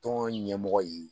Tɔn ɲɛmɔgɔ ye